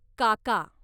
काका